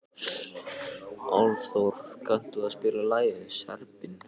Álfþór, kanntu að spila lagið „Serbinn“?